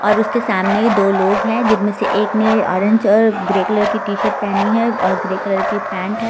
और उसके सामने दो लोग हैं जिनमें से एक ने ऑरेंज और ग्रे कलर की टी-शर्ट पहनी है और ग्रे कलर के पैंट है।